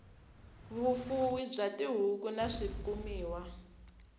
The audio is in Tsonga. vufuwi bya tihuku na swikumiwa